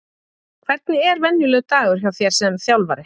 Hvernig er venjulegur dagur hjá þér sem þjálfari?